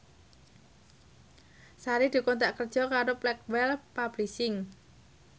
Sari dikontrak kerja karo Blackwell Publishing